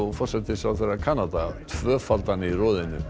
forsætisráðherra Kanada tvöfaldan í roðinu